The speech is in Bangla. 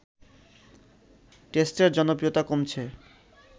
টেস্টের জনপ্রিয়তা কমছে